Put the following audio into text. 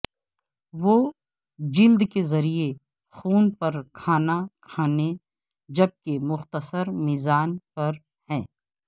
وہ جلد کے ذریعے خون پر کھانا کھلانے جبکہ مختصر میزبان پر ہیں